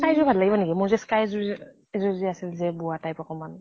sky যোৰ ভাল লাগিব নেকি ? মোৰ যে sky যোৰ এ এযোৰ আছিল যে বোৱা type অকমান?